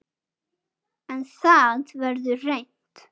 En það verður reynt